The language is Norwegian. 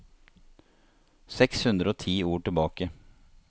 Seks hundre og ti ord tilbake